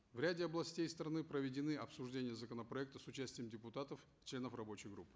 в ряде областей страны проведены обсуждения законопроекта с участием депутатов членов рабочей группы